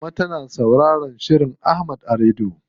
Mama tana sauraron shirin Ahmad a rediyo.